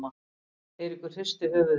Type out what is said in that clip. Eiríkur hristi höfuðið.